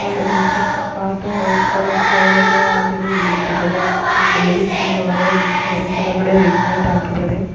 ಹಾಗೇನೇ ಚಿಕ್ಕ ಚಿಕ್ಕ ಪಾಟ್ ವೈಟ್ ಕಲರ್ ಫ್ಲವರ್ ಎಲ್ಲಾ ಹಾಗೇನೇ ಇಳಿ ಬಿಟ್ಟಿದ್ದಾರೆ ಒಬ್ಬರು ಲೇಡೀಸ್ ಅದರ ಒಳಗೆ ನಿಂತು ಇದ್ದರೆ ಕೆಳಗಡೆ ರೆಡ್ ಮ್ಯಟ್ ಹಾಕಿದಾರೆ. .